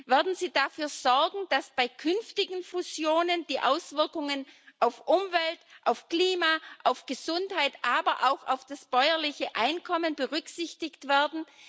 Würden Sie dafür sorgen, dass bei künftigen Fusionen die Auswirkungen auf Umwelt, Klima und Gesundheit, aber auch auf das bäuerliche Einkommen berücksichtigt werden?